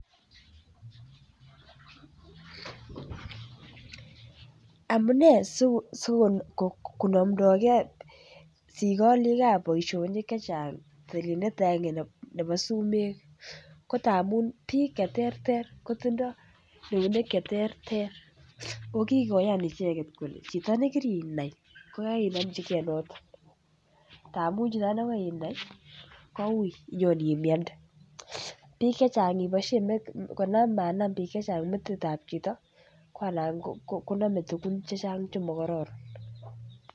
Amune sikokonomdoge sikoolikab boisionik chechang tilindet agenge nebo sumek ko tamun bik Che terter kotindoi eunek Che terter ako kikoyan icheget kole chito nekirinai kogaigai inomchi ge noton amun chito nekoinai koui inyon imiande bik chechang iboisien konam bik chechang metit ab chito ko anan konome tugun chechang Che mokororon